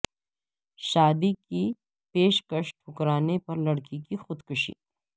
شادی کی پیشکش ٹھکرانے پر لڑکی کی خود کشی